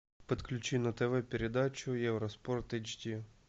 подключи на тв передачу евроспорт эйч ди